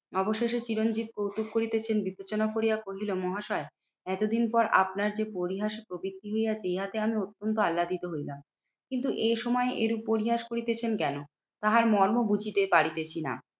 অবশেষে চিরঞ্জিত কৌতুক করিতেছেন বিবেচনা করিয়া কহিল মহাশয় এতদিন পর আপনার যে পরিহাস প্রবৃত্তি নিয়ে আমি অত্যন্ত আল্লাদিত হইলাম। কিন্তু এ সময় এ পরিহাস করিতেছেন কেন? তাহার মর্ম বুঝিতেছি না?